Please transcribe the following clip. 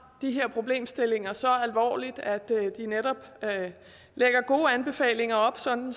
de her problemstillinger så alvorligt at de netop lægger gode anbefalinger op sådan